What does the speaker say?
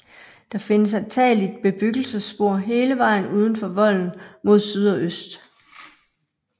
Der findes antageligt bebyggelsesspor hele vejen uden for volden mod syd og øst